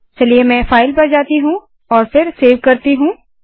चलिए में फाइल पर जाती हूँ और फिर सेव करती हूँ